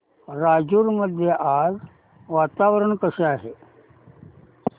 राजूर मध्ये आज वातावरण कसे आहे